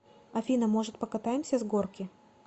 афина может покатаемся с горки